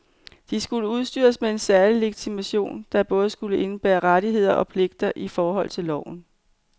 De skulle udstyres med særlig legitimation, der både skulle indebære rettigheder og pligter i forhold til loven.